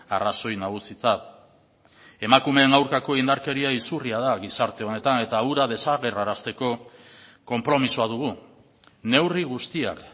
arrazoi nagusitzat emakumeen aurkako indarkeria izurria da gizarte honetan eta hura desagerrarazteko konpromisoa dugu neurri guztiak